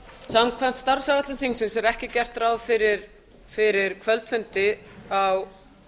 samkvæmt starfsáætlun þingsins er ekki gert ráð fyrir kvöldfundi á